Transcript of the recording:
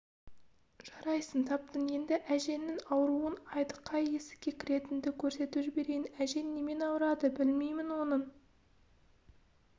жарайсың таптың енді әжеңнің ауруын айт қай есікке кіретініңді көрсетіп жіберейін әжең немен ауырады білмеймін оның